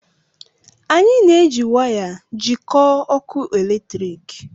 Anyị na-eji waya jikọọ ọkụ eletrik